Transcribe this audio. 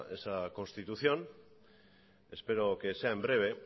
esa constitución espero que sea en breve